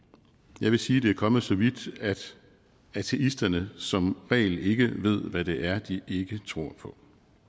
jeg vil sige at det er kommet så vidt at ateisterne som regel ikke ved hvad det er de ikke tror på